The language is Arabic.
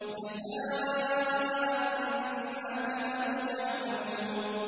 جَزَاءً بِمَا كَانُوا يَعْمَلُونَ